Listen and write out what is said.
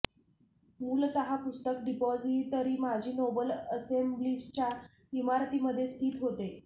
मूलतः पुस्तक डिपॉझिटरी माजी नोबल असेंब्लीच्या इमारतीमध्ये स्थित होते